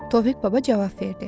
Tofiq baba cavab verdi.